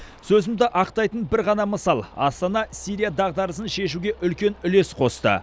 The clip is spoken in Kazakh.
сөзімді ақтайтын бір ғана мысал астана сирия дағдарысын шешуге үлкен үлес қосты